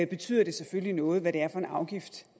betyder det selvfølgelig noget hvad det er for en afgift